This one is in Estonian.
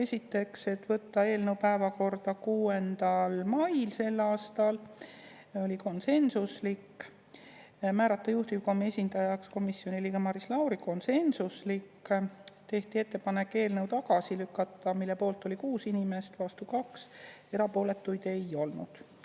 Esiteks, võtta eelnõu päevakorda 6. mail, see oli konsensuslik, määrata juhtiv esindajaks komisjoni liige Maris Lauri, konsensuslik, tehti ettepanek eelnõu tagasi lükata, mille poolt oli 6 inimest, vastu 2, erapooletuid ei olnud.